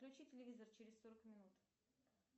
включи телевизор через сорок минут